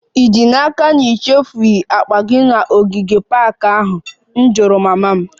Ì ji n'aka na ị chefuru akpa gị n'ogige ahụ? M jụrụ mama m